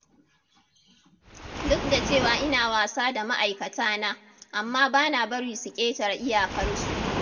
Duk da cewa ina wasa da ma'aikatana, amma bana bari su ƙetara iyakarsu.